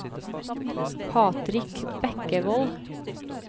Patrick Bekkevold